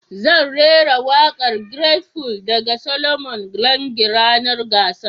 zan raira waƙar great full daga Solomon Lange ranar gasar